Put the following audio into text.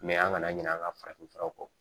an kana ɲinɛ an ka farafin furaw kɔ